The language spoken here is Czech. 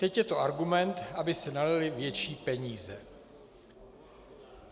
Teď je to argument, aby se nalily větší peníze."